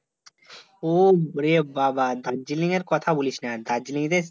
ওরে বাবা দার্জিলিং এর কথা বলিসনা! দার্জিলিংর